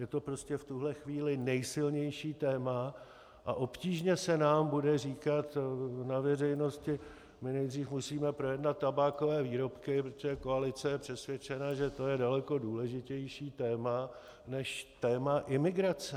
Je to prostě v tuhle chvíli nejsilnější téma a obtížně se nám bude říkat na veřejnosti: my nejdříve musíme projednat tabákové výrobky, protože koalice je přesvědčena, že to je daleko důležitější téma než téma imigrace.